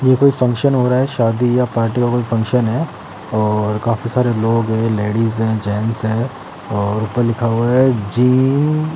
ये कोई फंक्शन हो रहा है शादी या पार्टी का कोई फंक्शन है और काफी सारे लोग हैं लेडीज हैं जेंस है और ऊपर लिखा हुआ है जी --